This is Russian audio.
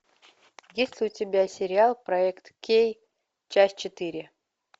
есть ли у тебя сериал проект кей часть четыре